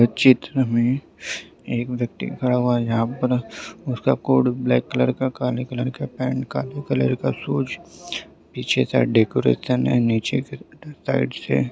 चित्र मे एक व्यक्ति खड़ा हुआ है जहा पर उसका कोट ब्लैक कलर काले कलर का शुएस पीछे साइड डेकोरेशन है नीचे फिर साइड से --